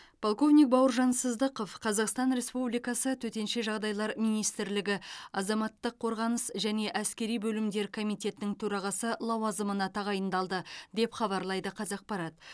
полковник бауыржан сыздықов қазақстан республикасы төтенше жағдайлар министрлігі азаматтық қорғаныс және әскери бөлімдер комитетінің төрағасы лауазымына тағайындалды деп хабарлайды қазақпарат